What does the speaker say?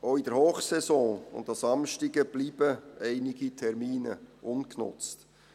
Auch in der Hochsaison und an Samstagen bleiben einige Termine ungenutzt.